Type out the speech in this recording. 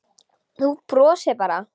Þú brosir bara!